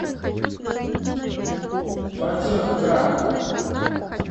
фатехгарх